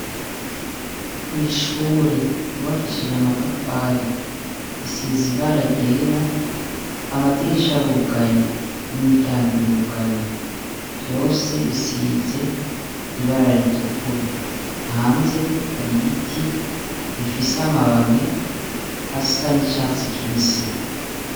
kwishure yubakishije amatafari isize ibara ryera amadirisha arugaye n'imiryango irugaye vyose bisize ibara ritukura hanze hari ibiti bifise amababi asa n'icatsi kibisi